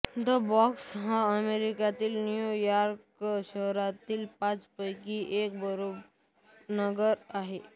the Bronx हा अमेरिकेच्या New York शहरातील पाचपैकी एक बोरो नगर आहे